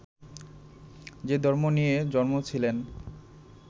যে ধর্ম নিয়ে জন্মেছিলেন